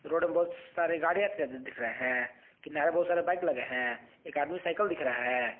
Road में बहुत सारे गाड़ियां दिख रहे हैं किनारे में बहुत सारा बाइक लगे हैं एक आदमी साइकल दिख रहा हैं।